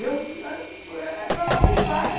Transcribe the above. Eu era pelado de praia.